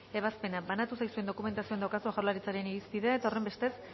ebazpena banatu zaizuen dokumentazioan daukazue jaurlaritzaren irizpidea eta horrenbestez